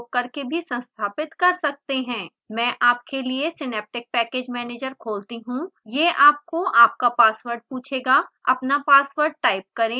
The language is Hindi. मैं आपके लिए सिनैप्टिक पैकेज मैनेजर खोलती हूँ यह आपको आपका पासवर्ड पूछेगा अपना पासवर्ड टाइप करें